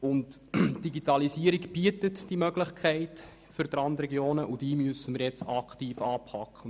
Die Digitalisierung bietet Möglichkeiten für die Randregionen, die wir nun anpacken müssen.